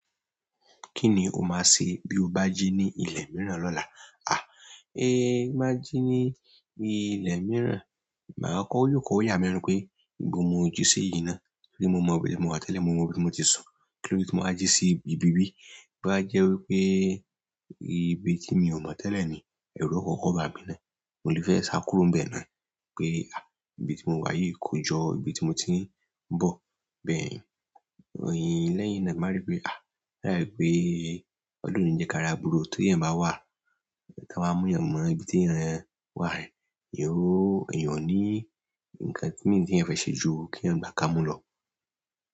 Kí ni o máa ṣe bí o bá jí ní ilẹ̀ mìíràn lọ́la? À, ẹ ti n ba jí ní ilẹ̀ mìíràn, màá kọkọ yòo kọ yàmí lẹ́nu pé ibo ni mo jí sí yí náà torí mo mọ ibi tí mo wà tẹ́lẹ̀, mo mọ ibi tí mo ti sùn, kí lóde tí mo bá jí sí ibi bí bí, to bá jẹ́ wípé ibi ti mi o mọ tẹlẹ ni, ẹru o kọkọ ba mi náà, mo le fẹ sa kúrò níbẹ̀ pe a, ibi timo wa yi ko jọ ibi ti mo ti n bọ bẹ́ẹ̀ yín, lẹ́yìn náà màá rí pé à, láì pé Ọlọ́hun ni ń jẹ́ ká ra burú o tó èèyàn bá wà, tí a wá mú èèyàn mọ ibi tí èèyàn wà yẹn, èèyàn óò eeyàn ó ní ǹkan mìí ti eeyàn fẹ́ ṣe ju kí eeyàn gbá ká mú lọ.